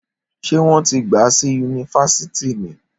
Ṣé wọn ti gba si yunifásítì ní?